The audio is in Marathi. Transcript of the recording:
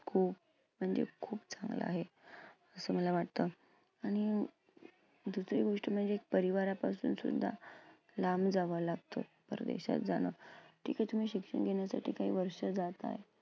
खूप म्हणजे खूप चांगलं आहे असं मला वाटतं. आणि दुसरी गोष्ट म्हणजे परिवारापासून सुद्धा लांब जावं लागतं परदेशात जाणं. ठिके तुम्ही शिक्षण घेण्यासाठी काही वर्षं जाताय,